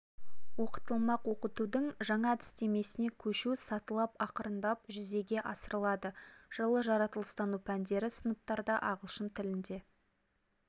оқытылмақ оқытудың жаңа әдістемесіне көшу сатылап ақырындап жүзеге асырылады жылы жаратылыстану пәндері сыныптарда ағылшын тілінде